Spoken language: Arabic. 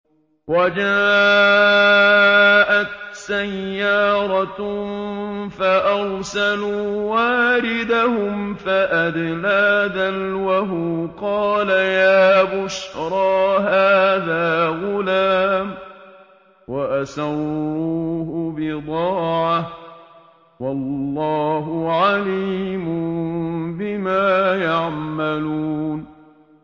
وَجَاءَتْ سَيَّارَةٌ فَأَرْسَلُوا وَارِدَهُمْ فَأَدْلَىٰ دَلْوَهُ ۖ قَالَ يَا بُشْرَىٰ هَٰذَا غُلَامٌ ۚ وَأَسَرُّوهُ بِضَاعَةً ۚ وَاللَّهُ عَلِيمٌ بِمَا يَعْمَلُونَ